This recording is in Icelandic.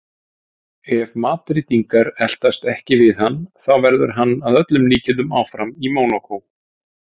Ef Madrídingar eltast ekki við hann þá verður hann að öllum líkindum áfram í Mónakó.